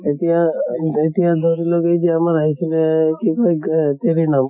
এতিয়া এতিয়া ধৰি লওঁক এই যে আমাৰ আহিছিলে কি কৌ গ